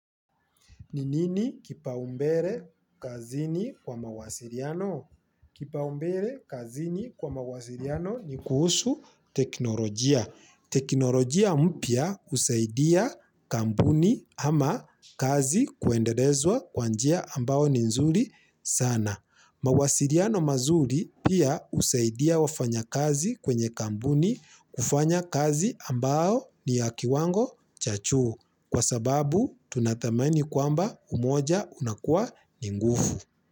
Ni nini kipaumbere kazini kwa mawasiriano? Kipaumbere kazini kwa mawasiriano ni kuhusu teknolojia. Teknolojia mpya husaidia kampuni ama kazi kuenderezwa kwa njia ambao ni nzuri sana. Mawasiliano mazuri pia husaidia wafanya kazi kwenye kampuni kufanya kazi ambao ni ya kiwango cha juu. Kwa sababu tunadhamani kwamba umoja unakua ni nguvu.